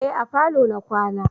Eh a falo na kwana